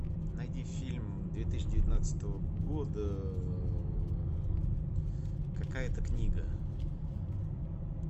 найди фильм две тысячи девятнадцатого года какая то книга